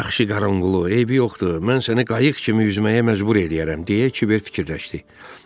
Yaxşı qaranqulu, eybi yoxdur, mən səni qayıq kimi üzməyə məcbur eləyərəm, deyə kiver fikirləşdi.